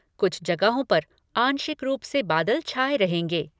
कुछ जगहों पर आंशिक रूप से बादल छाए रहेंगे।